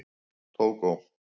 Tógó